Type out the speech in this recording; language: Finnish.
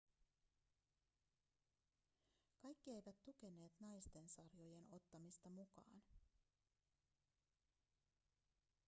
kaikki eivät tukeneet naisten sarjojen ottamista mukaan